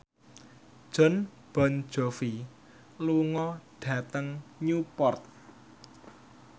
Jon Bon Jovi lunga dhateng Newport